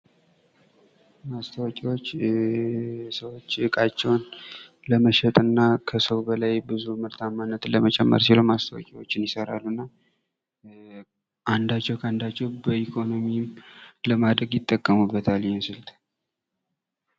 ማስታወቂያዎች የሰው ልጅ እቃቸውን ለመሸጥ እና ከሰው በላይ ብዙ ምርታማነት ለመጨመር ሲሉ ማስታወቂያዎችን ይሰራሉ። እና አንዳቸው ከአንዳቸው በኢኮኖሚም ለማደግ ይጠቀሙበታል ይህንን ስልት።